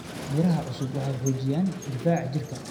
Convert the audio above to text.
Miraha cusub waxay xoojiyaan difaaca jirka.